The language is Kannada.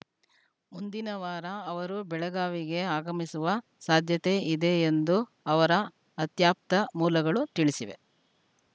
ಮುಂದಿನ ವಾರ ಅವರು ಬೆಳಗಾವಿಗೆ ಆಗಮಿಸುವ ಸಾಧ್ಯತೆ ಇದೆ ಎಂದು ಅವರ ಅತ್ಯಾಪ್ತ ಮೂಲಗಳು ತಿಳಿಸಿವೆ